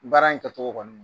Baara in kɛcogo kɔnɔ